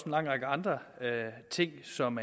lang række andre ting som